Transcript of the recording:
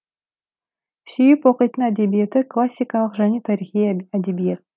сүйіп оқитын әдебиеті классикалық және тарихи әдебиет